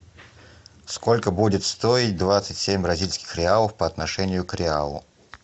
сколько будет стоить двадцать семь бразильских реалов по отношению к реалу